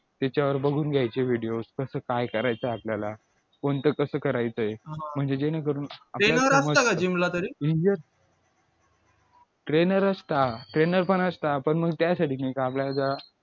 त्याच्यावर बघून घ्यायचे videos कसं काय करायचं आपल्याला कोणत कसं करायचं म्हणजे जेणेकरून trainer असता trainer पण असता पण मग त्यासाठी की आपल्याला